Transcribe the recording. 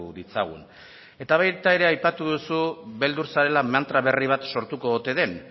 ditzagun eta baita ere aipatu duzu beldur zarela mantra berri bat sortuko ote den